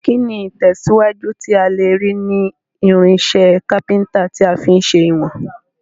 Kíni ìtẹ̀síwájú tí a lèrí ni irinsẹ́ carpenter ti a fi n se ìwòn